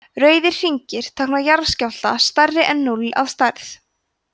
rauðir hringir tákna jarðskjálfta stærri en núll að stærð